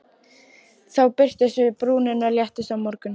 Þá birtumst við og brúnin léttist á mörgum.